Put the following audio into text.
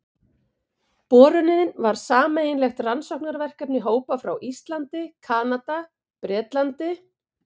Borunin var sameiginlegt rannsóknarverkefni hópa frá Íslandi, Kanada, Bretlandi